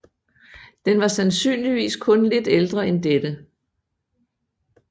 Den var sandsynligvis kun lidt ældre en dette